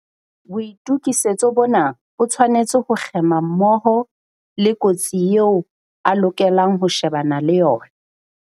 Boitokisetso bona bo tshwanetse ho kgema mmoho le kotsi eo a lokelang ho shebana le yona.